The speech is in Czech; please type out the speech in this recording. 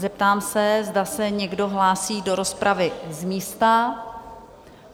Zeptám se, zda se někdo hlásí do rozpravy z místa?